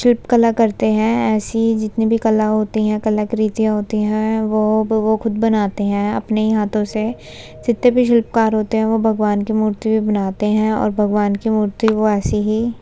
शिल्प कला करते है ऐसी जितनी भी कला होती है कलाकृतियाँ होती है वो वो खुद बनाते है अपने हाथो से। जीतते भी शिल्पकार होते है वो भगवान की मूर्ति भी बनाते है और भगवान की मूर्ति को ऐसे ही --